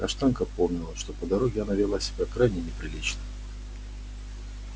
каштанка помнила что по дороге она вела себя крайне неприлично